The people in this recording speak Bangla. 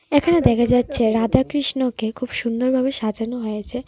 এখানে দেখা যাচ্ছে রাধাকৃষ্ণকে খুব সুন্দরভাবে সাজানো হয়েছে.